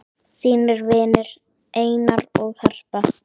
þínir vinir, Einar og Harpa.